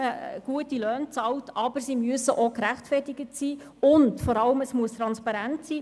Aber sie müssen gerechtfertigt und vor allem transparent sein;